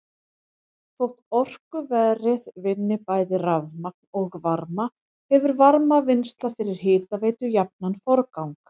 Þótt orkuverið vinni bæði rafmagn og varma hefur varmavinnsla fyrir hitaveitu jafnan forgang.